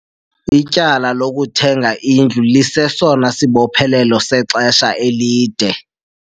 Ityala lokuthenga indlu lisesona sibophelelo sexesha elide.